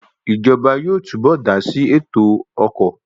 Ìjọba yóò túbọ̀ dásí ètò ọkọ̀